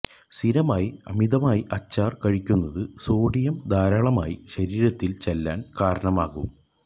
സ്ഥിരമായി അമിതമായി അച്ചാര് കഴിക്കുന്നത് സോഡിയം ധാരാളമായി ശരീരത്തില് ചെല്ലാന് കാരണമാകും